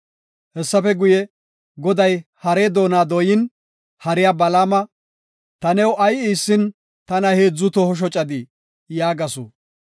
Hessafe guye, Goday harey doona dooyin, hariya Balaama, “Ta new ay iissin tana heedzu toho shocadii?” yaagasu.